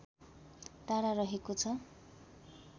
टाढा रहेको छ